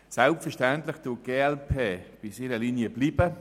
Selbstverständlich bleibt die glp-Fraktion bei ihrer Linie.